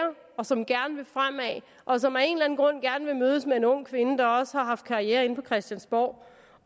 og som gerne vil fremad og som af en eller anden grund gerne vil mødes med en ung kvinde der også har haft karriere inde på christiansborg